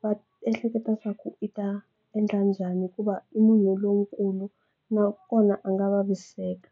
va ehleketa swa ku i ta endla njhani hikuva i munhu lonkulu nakona a nga vaviseka